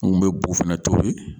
N kun bɛ bu fana tobi.